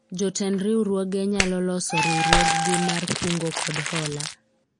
jotend riwruoge nyalo loso riwruog gi mar kungo kod hola